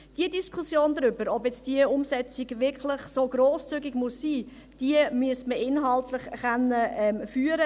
Die Diskussion darüber, ob diese Umsetzung nun wirklich so grosszügig sein muss, müsste man inhaltlich führen können.